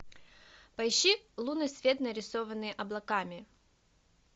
поищи лунный свет нарисованный облаками